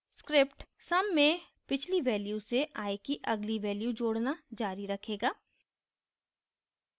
script sum में पिछली value से i की अगली value जोडना जारी रखेगा